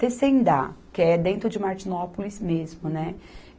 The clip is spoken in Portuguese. Teçaindá, que é dentro de Martinópolis mesmo, né?